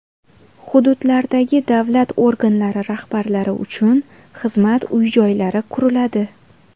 Hududlardagi davlat organlari rahbarlari uchun xizmat uy-joylari quriladi .